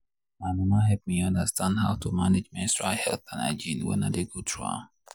my mama help me understand how to manage menstrual health and hygiene wen i dey go through am.